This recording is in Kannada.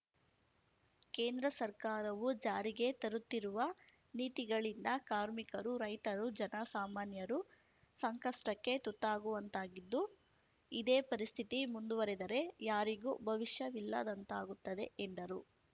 ಕೇಂದ್ರ ಸರ್ಕಾರವು ಜಾರಿಗೆ ತರುತ್ತಿರುವ ನೀತಿಗಳಿಂದ ಕಾರ್ಮಿಕರು ರೈತರು ಜನ ಸಾಮಾನ್ಯರು ಸಂಕಷ್ಟಕ್ಕೆ ತುತ್ತಾಗುವಂತಾಗಿದ್ದು ಇದೇ ಪರಿಸ್ಥಿತಿ ಮುಂದುವರಿದರೆ ಯಾರಿಗೂ ಭವಿಷ್ಯವಿಲ್ಲದಂತಾಗುತ್ತದೆ ಎಂದರು